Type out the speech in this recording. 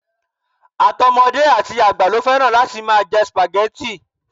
Àtọmọdé àti àgbà ló fẹ́ràn láti máa jẹ spaghetti